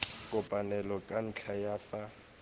kopaneng ka ntlha ya fa